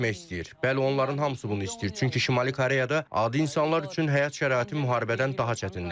Bəli, onların hamısı bunu istəyir, çünki Şimali Koreyada adi insanlar üçün həyat şəraiti müharibədən daha çətindir.